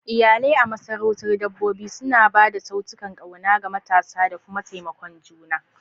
Iyalai a masarautar dabbobi suna ba da saitunan ƙauna ga matasa da kuma taimakon juna.